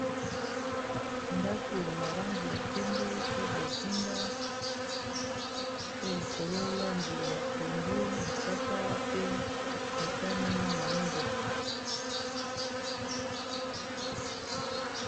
ndako na langi ya pembe pe bozinga pe likolo langi ya pondo mosaka pe motani na moindo